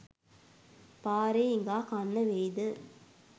පාරේ හිඟා කන්න වෙයි ද?